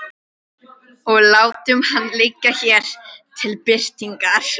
Og látum hann liggja hér til birtingar.